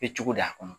Kɛ cogo da kɔnɔ